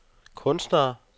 kunstnere